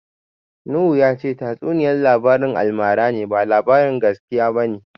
Nuhu ya ce tatsuniya labarin almara ne, ba labarin gaskiya ba ne.